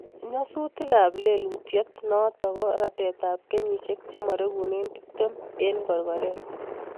Nyasutik ab lelutyiot notok koo ratet ab kenyisieke chemaregune tiptem eng korkoret